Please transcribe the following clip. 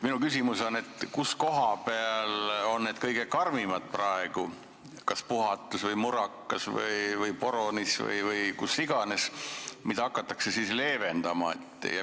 Minu küsimus on, kus kohas on need praegu kõige karmimad, kas Puhatus, Murakas, Porunis või kus iganes, ja mida siis leevendama hakatakse.